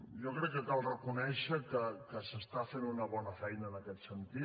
jo crec que cal reconèixer que es fa una bona feina en aquest sentit